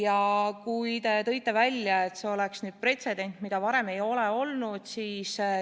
Aga te tõite välja, et see oleks pretsedent, mida varem ei ole olnud.